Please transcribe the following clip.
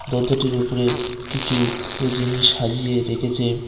দরজাটির উপরে কিছু জিনিস সাজিয়ে রেখেছে।